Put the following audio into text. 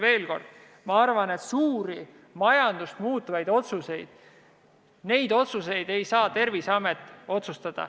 Veel kord: ma arvan, et suuri majandust mõjutavaid otsuseid ei saa Terviseamet teha.